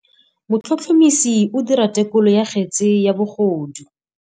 Motlhotlhomisi o dira têkolô ya kgetse ya bogodu.